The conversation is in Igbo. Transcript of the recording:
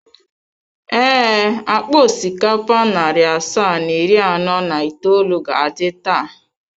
Ee, akpa osikapa narị asaa na iri anọ na itoolu ga-adị taa.